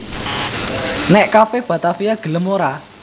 Nek Cafe Batavia gelem ora?